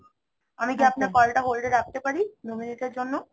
আমি কি আপনার call টা hold এ রাখতে পারি দু minute এর জন্য?